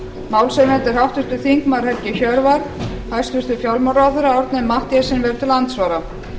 málshefjandi er háttvirtur þingmaður helgi hjörvar hæstvirtur fjármálaráðherra árni m mathiesen verður til andsvara